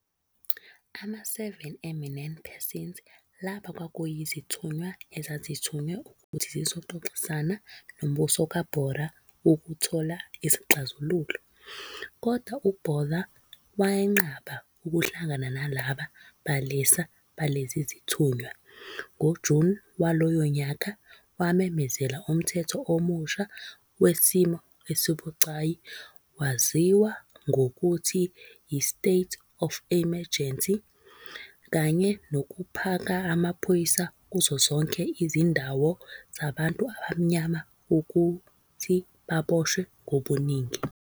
ama-"seven eminent persons", laba kwakuyizithunywa, ezazithunywe ukuthi zizoxoxisana nombuso kaBotha ukuthola isixazululo, kodwa uBotha wenqaba ukuhlangana nalaba balisa balezi zithunywa, ngoJuni walowo nyaka wamemezela umthetho omusha wesimo esibucayi owaziwa ngokuthi yi-state of emergency, kanye nokuphaka amaphoyisa kuzo zonke izindawu zabantu abamnyama ukuthi baboshwe ngobuningi.